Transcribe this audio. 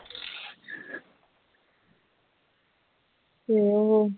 ਹੋਰ